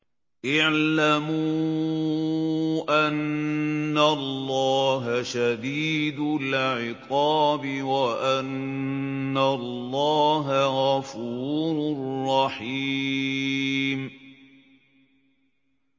اعْلَمُوا أَنَّ اللَّهَ شَدِيدُ الْعِقَابِ وَأَنَّ اللَّهَ غَفُورٌ رَّحِيمٌ